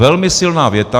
Velmi silná věta.